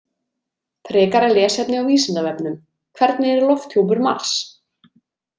Frekara lesefni á Vísindavefnum Hvernig er lofthjúpur Mars?